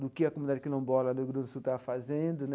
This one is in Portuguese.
do que a comunidade quilombola do Rio Grande do Sul estava fazendo né.